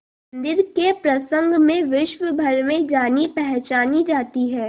मंदिर के प्रसंग में विश्वभर में जानीपहचानी जाती है